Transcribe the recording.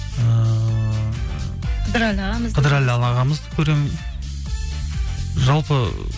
ііі кыдырәлі ағамызды көремін жалпы